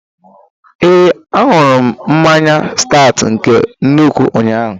Ee, aṅụrụ m mmanya Staut nke nnukwu ụnyaahụ